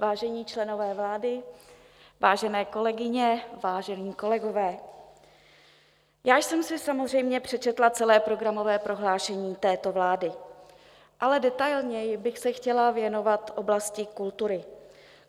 Vážení členové vlády, vážené kolegyně, vážení kolegové, já jsem si samozřejmě přečetla celé programové prohlášení této vlády, ale detailněji bych se chtěla věnovat oblasti kultury.